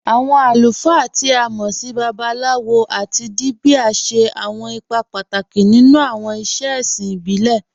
Awọn alùfáà, tí a mọ́ sì Babaláwòs tábí Díbíà, ṣẹ̀ awọn ìpà pátákì nínú awọn ìṣẹ̀ è̩ṣìn ìbílẹ̀.